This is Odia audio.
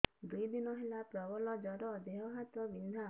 ଦୁଇ ଦିନ ହେଲା ପ୍ରବଳ ଜର ଦେହ ହାତ ବିନ୍ଧା